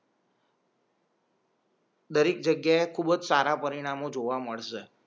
દરેક જગ્યા એ ખૂબ અજ સારા પરિણામો જોવા મળશે